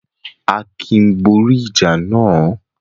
Akin borí ìjà náà?